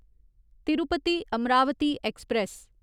Tirupati Amaravati express